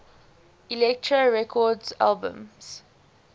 elektra records albums